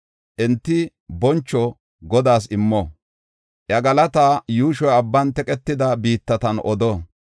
Enti boncho Godaas immo; iya galata yuushoy abban teqetida biittatan odo.